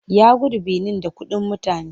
Ya gudu Benin da kuɗin mutane.